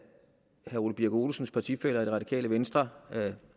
herre ole birk olesens partifæller af det radikale venstre